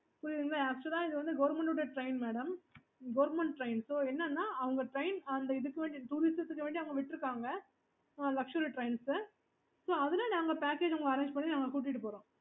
okay